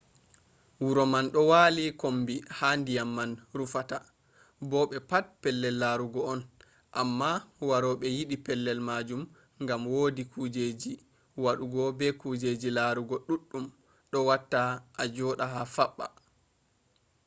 wuro man do wali kombi ha diyam man rufata bo be pat pellel larugo on amma warobe yidi pellel majum gam wodi kujjeji wadugo be kujjeji larugo duddum dum watta ajoda fabba